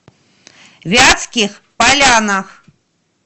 вятских полянах